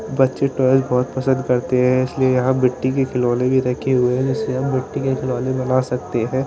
बच्चे टॉयज बहोत पसंद करते हैं इसलिए यहां मिट्टी के खिलौने भी रखे हुए हैं इसे हम मिट्टी के खिलौने भी मंगा सकते हैं।